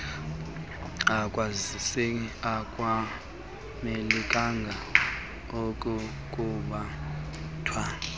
akwazise akamelanga kukubetha